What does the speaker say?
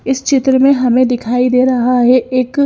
इस चित्र में हमे दिखाई दे रहा है एक --